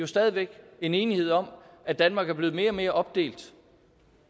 stadig væk en enighed om at danmark er blevet mere og mere opdelt